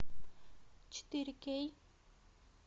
четыре кей